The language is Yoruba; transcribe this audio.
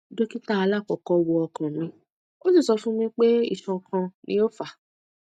dókítà alakọkọ wo ọkàn mi o si sọ fún mi pé isan kan ni o fa